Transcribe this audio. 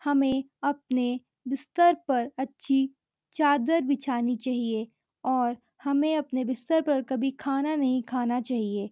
हमें अपने बिस्तर पर अच्छी चादर बिछानी चाहिए और हमें अपने बिस्तर पर कभी खाना नहीं खाना चाहिए।